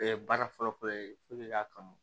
baara fɔlɔ fɔlɔ ye i k'a kanu